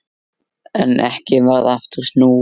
En ekki varð aftur snúið.